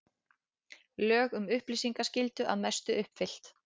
Lög um upplýsingaskyldu að mestu uppfyllt